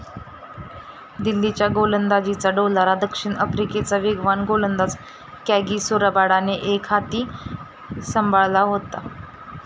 दिल्लीच्या गोलंदाजीचा डोलारा दक्षिण आफ्रिकेचा वेगवान गोलंदाज कॅगिसो रबाडाने एकहाती सांभाळला होता.